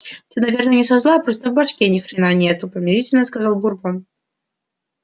ты наверное не со зла просто в башке ни хрена нету примирительно сказал бурбон